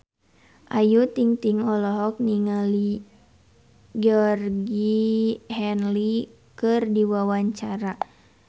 Ayu Ting-ting olohok ningali Georgie Henley keur diwawancara